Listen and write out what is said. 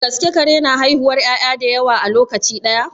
Da gaske kare na haihuwar 'ya'ya da yawa a lokaci ɗaya?